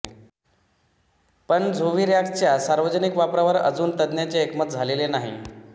पण झोव्हिरॅक्स च्या सार्वजनिक वापरावर अजून तज्ञांचे एकमत झालेले नाही